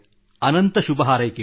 ಅನಂತ ಶುಭಹಾರೈಕೆಗಳು